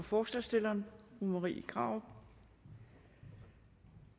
forslagsstillerne fru marie krarup